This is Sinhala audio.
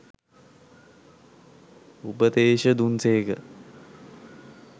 උපදේශ දුන් සේක.